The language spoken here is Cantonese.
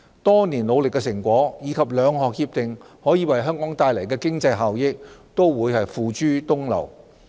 多年努力的成果，以及兩項協定可為香港帶來的經濟效益，都會付諸東流。